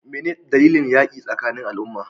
Me ne dalilin yakin tsakanin al'umma?